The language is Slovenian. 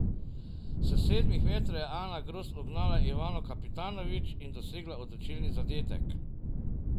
S sedmih metrov je Ana Gros ugnala Ivano Kapitanović in dosegla odločilni zadetek.